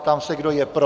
Ptám se, kdo je pro?